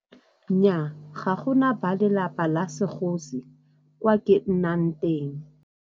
Nnyaa, ga gona ba lelapa la segosi kwa ke nnang teng.